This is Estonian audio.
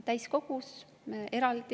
See on suur teema.